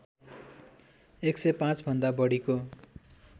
१०५ भन्दा बढीको